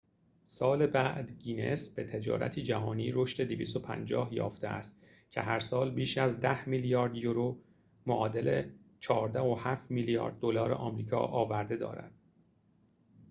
250 سال بعد، گینس به تجارتی جهانی رشد یافته است که هرسال بیش از 10 میلیارد یورو 14.7 میلیارد دلار آمریکا آورده دارد